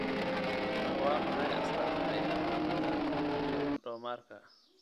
Waa maxay astamaha iyo calaamadaha Chordomarka?